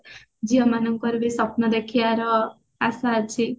ଝିଅ ମାନଙ୍କର ବି ସ୍ଵପ୍ନ ଦେଖିବାର ଆଶା ଅଛି